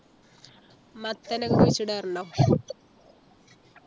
മത്തൻ കുഴിച്ചിടാറുണ്ടോ